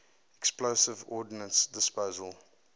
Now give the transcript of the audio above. explosive ordnance disposal